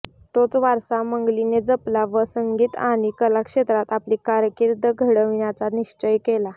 तोच वारसा मंगलीने जपला व संगीत आणि कला क्षेत्रात आपली कारकिर्द घडविण्याचा निश्चय केला